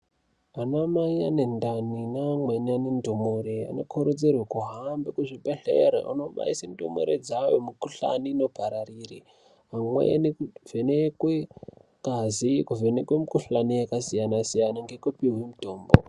Anamai ane ndani neamweni ane ndumure anokurudzirwe kuhambe kuzvibhedhlere onobaise ndumure dzawo mikuhlani inopararire. Amweni kuvhenekwe ngazi, kuvhenekwe mikuhlani yakasiyana-siyana ngekupihwe mitombo.